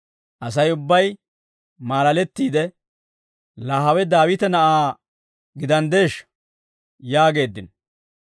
Asay ubbay maalalettiide, «Laa hawe Daawite na'aa gidanddeeshsha?» yaageeddino.